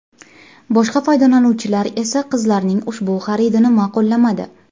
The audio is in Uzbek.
Boshqa foydalanuvchilar esa qizlarning ushbu xaridini ma’qullamadi.